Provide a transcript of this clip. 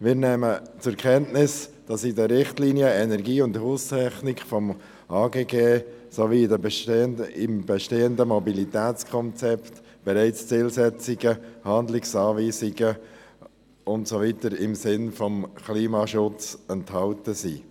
Wir nehmen zur Kenntnis, dass in den Richtlinien zu Energie und Haustechnik des AGG sowie im bestehenden Mobilitätskonzept bereits Zielsetzungen, Handlungsanweisungen und Weiteres im Sinne des Klimaschutzes enthalten sind.